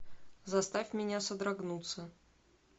заставь меня содрогнуться